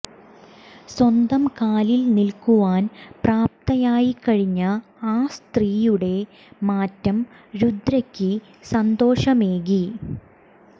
സ്വന്തം കാലിൽ നിൽക്കുവാൻ പ്രാപ്തയായിക്കഴിഞ്ഞ ആ സ്ത്രീയുടെ മാറ്റം രുദ്രയ്ക്ക് സന്തോഷമേകി